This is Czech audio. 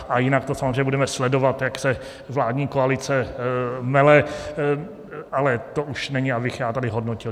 A jinak to samozřejmě budeme sledovat, jak se vládní koalice mele, ale to už není, abych já tady hodnotil.